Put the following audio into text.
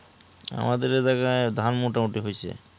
আমাদের এই জায়গার ধান মোটামুটি হয়েছে